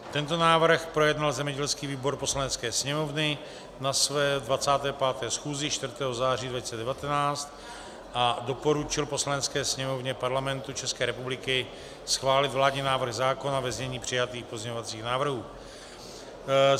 Tento návrh projednal zemědělský výbor Poslanecké sněmovny na své 25. schůzi 4. září 2019 a doporučil Poslanecké sněmovně Parlamentu České republiky schválit vládní návrh zákona ve znění přijatých pozměňovacích návrhů.